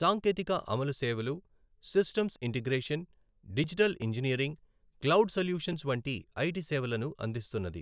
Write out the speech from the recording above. సాంకేతిక అమలు సేవలు, systems integration, digital engineering, cloud solutions వంటి ఐటి సేవలను అందిస్తున్నది.